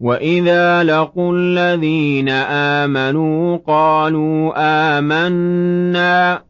وَإِذَا لَقُوا الَّذِينَ آمَنُوا قَالُوا آمَنَّا